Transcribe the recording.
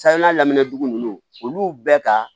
Sahana lamɛndugu ninnu olu bɛɛ ka